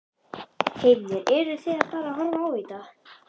Heimir: Eruð þið bara að horfa á í dag?